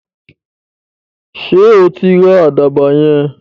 Sọ tí ra àdàbà yẹn?